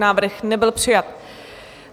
Návrh nebyl přijat.